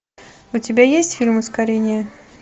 у тебя есть фильм ускорение